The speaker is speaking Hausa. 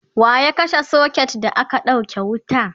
waya kashe socket da aka ɗauke wuta?